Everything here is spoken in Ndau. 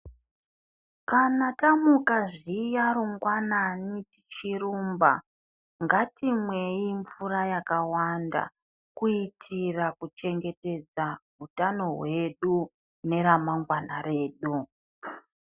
Kana tamuka zviya rungwanani tichitrumba ngatimweyi mvura yakawanda kuitira kuchengetedza utano hwedu neremangwana redu.